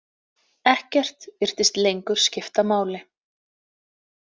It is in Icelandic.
Ekkert virtist lengur skipta máli.